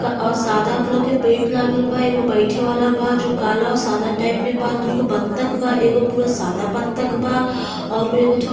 सादा कलर के पेंट लागल बा। एगो बैठे वाला बा जो काला और सादा टाइप में बा दूगो बत्तख बा एगो पूरा सादा बत्तख बा और उ एगो--